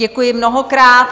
Děkuji mnohokrát.